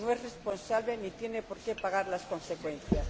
no es responsable ni tiene por qué pagar las consecuencias.